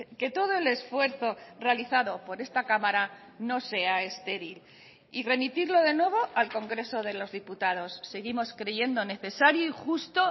que todo el esfuerzo realizado por esta cámara no sea estéril y remitirlo de nuevo al congreso de los diputados seguimos creyendo necesario y justo